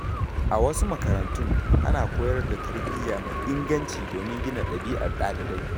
A wasu makarantun, ana koyar da tarbiyya mai inganci domin gina ɗabi’ar ɗalibai.